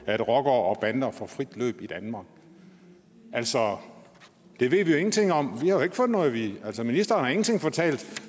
at rockere og bander får frit løb i danmark altså det ved vi jo ingenting om vi har jo ikke fået noget at vide ministeren har ingenting fortalt